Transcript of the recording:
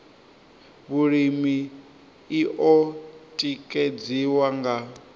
vhulimi i o tikedziwa nga